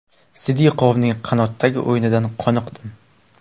Sidiqovning qanotdagi o‘yinidan qoniqdim.